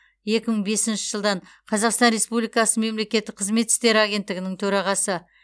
екі мың бесінші жылдан қазақстан республикасы мемлекеттік қызмет істері агенттігінің төрағасы